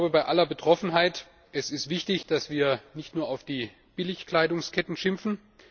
Bei aller Betroffenheit es ist wichtig, dass wir nicht nur auf die Billigkleidungsketten schimpfen.